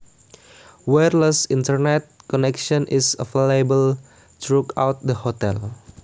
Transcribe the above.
Wireless Internet connection is available throughout the hotel